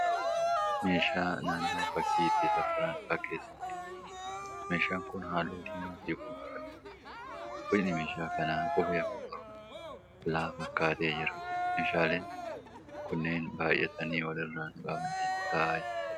Meeshaa naannawwaa fakkii itti safaranii fakkeessaniidha. Meeshaan kun halluu diimaa fi gurraacha qaba. Boci meeshaa kana qubee afaan Oromoo L fakkaatee jira. Meeshaaleen kunneen baayyatanii wal irra naqamanii taa'aa jiru.